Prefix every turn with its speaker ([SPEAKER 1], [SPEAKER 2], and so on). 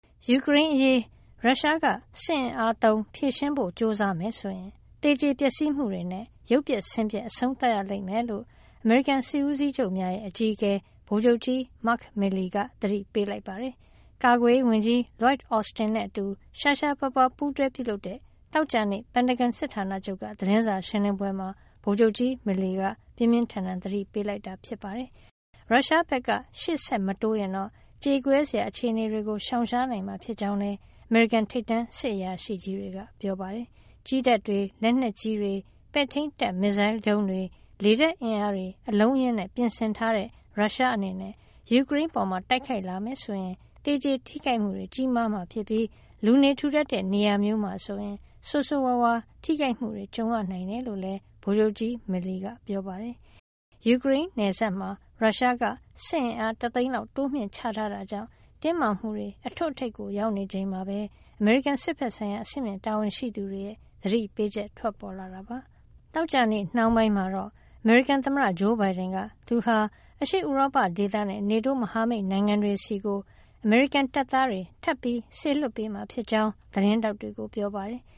[SPEAKER 1] ယူကရိန်းအရေး ရုရှားက စစ်အင်အားသုံး ဖြေရှင်းဖို့ ကြိုးစားမယ်ဆိုရင် သေကျေပျက်စီးမှုတွေနဲ့ ရုပ်ပျက်ဆင်းပျက် အဆုံးသတ်ရလိမ့်မယ်လို့ အမေရိကန် စစ်ဦးစီးချုပ်များရဲ့ အကြီးအကဲ ဗိုလ်ချုပ်ကြီး Mark Milley က သတိပေးလိုက်ပါတယ်။ ကာကွယ်ရေးဝန်ကြီး Lloyd Austin နဲ့အတူ ရှားရှားပါးပါး ပူးတွဲပြုလုပ်တဲ့ သောကြာနေ့ ပင်တဂွန်စစ်ဌာနချုပ်က သတင်းစာရှင်းလင်းပွဲမှာ ဗိုလ်ချုပ်ကြီး Milley က ပြင်းပြင်းထန်ထန် သတိပေး ပြောကြားလိုက်တာပါ။ ရုရှားဘက်က ရှေ့ဆက်မတိုးရင်တော့ ကြေကွဲစရာ အခြေအနေတွေကို ရှောင်ရှားနိုင်မှာ ဖြစ်ကြောင်းလည်း အမေရိကန် ထိပ်တန်းစစ်အရာရှိကြီးတွေက ပြောပါတယ်။ ကြည်းတပ်တွေ၊ လက်နက်ကြီးတွေ၊ ပဲ့ထိန်းတပ်မစ်ဇိုင်းဒုံးတွေ၊ လေတပ်အင်အားတွေ အလုံးအရင်းနဲ့ ပြင်ဆင်ထားတဲ့ ရုရှားအနေနဲ့ ယူကရိန်းအပေါ် တိုက်ခိုက်လာခဲ့မယ်ဆိုရင် သေကျေထိခိုက်မှုတွေ ကြီးမားမှာဖြစ်ပြီး လူနေထူထပ်တဲ့ နေရာမျိုးမှာဆိုရင် ဆိုးဆိုးရွားရွား ထိခိုက်မှုတွေ ကြုံရနိုင်တယ်လို့လည်း ဗိုလ်ချုပ်ကြီး Milley က ပြောပါတယ်။ ယူကရိန်းနယ်စပ်မှာ ရုရှားက စစ်အင်အား ၁ သိန်းလောက် တိုးမြှင့်ထားတာကြောင့် တင်းမာမှုတွေ အထွတ်အထိပ် ရောက်နေချိန်မှာပဲ အမေရိကန် စစ်ဘက်ဆိုင်ရာ အဆင့်မြင့် တာဝန်ရှိသူတွေရဲ့ သတိပေးချက် ထွက်ပေါ်လာတာပါ။ သောကြာနေ့နှောင်းပိုင်းမှာတော့ အမေရိကန်သမ္မတ ဂျိုးဘိုင်ဒန်က သူဟာ အရှေ့ဥရောပဒေသနဲ့ NATO မဟာမိတ်နိုင်ငံတွေဆီကို အမေရိကန်တပ်သားတွေ ထပ်ပြီး စေလွှတ်ပေးမှာဖြစ်ကြောင်း သတင်းထောက်တွေကို ပြောပါတယ်။